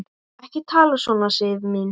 Ekki tala svona, Sif mín!